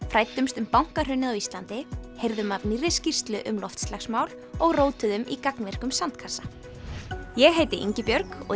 fræddumst um bankahrunið á Íslandi heyrum af nýrri skýrslu um loftslagsmál og í gagnvirkum sandkassa ég heiti Ingibjörg og